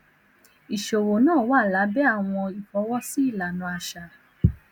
iṣowo naa wa labẹ awọn ifọwọsi ilana aṣa